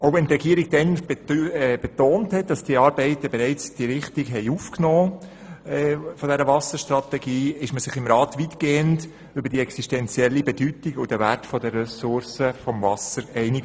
Während die Regierung damals betonte, dass sie die Arbeiten an der Wasserstrategie bereits aufgenommen habe, war man sich im Grossen Rat bereits weitgehend über die existenzielle Bedeutung und den Wert der Ressource Wasser einig.